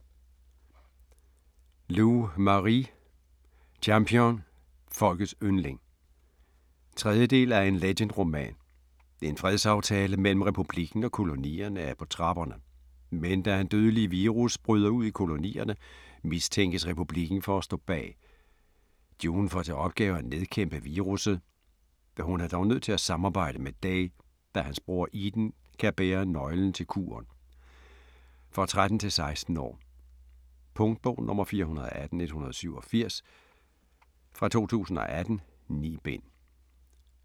Lu, Marie: Champion - folkets yndling 3. del af En Legend-roman. En fredsaftale mellem Republikken og Kolonierne er på trapperne. Men da en dødelig virus bryder ud i Kolonierne, mistænkes Republikken for at stå bag. June får til opgave at nedkæmpe virusset. Hun er dog nødt til at samarbejde med Day, da hans bror Eden kan bære nøglen til kuren. For 13-16 år. Punktbog 418187 2018. 9 bind.